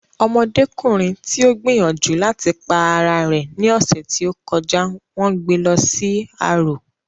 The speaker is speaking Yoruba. Ọmọdékùnrin tí ó gbìyànjú láti pa ara rẹ̀ ní ọ̀sẹ̀ tí ó kọjá n wón gbé lọ sí arò